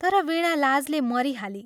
तर वीणा लाजले मरिहाली।